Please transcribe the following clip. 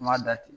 N m'a da ten